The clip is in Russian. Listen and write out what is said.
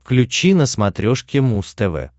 включи на смотрешке муз тв